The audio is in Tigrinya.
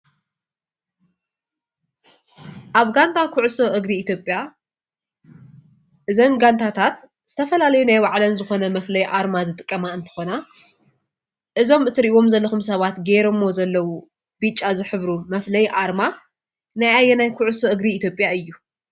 ኣብ ጋንታ ኩዕሶ እግሪ ኢትዮጰያ እዘን ጋንታታት ዝተፈላለዩ ናይ ባዕለን ዝኾነ መፍላይ ኣርማ ዝጥቀማ እትኾና እዞም እትሪኢዎም ዘለኹም ሰባት ጌሮሞ ዘለው ብጫ ዝሕብሩ መፍላይ ኣርማ ናይ ኣየናይ ኩዕሶ እግሪ ኢትዮጰያ እዩ ?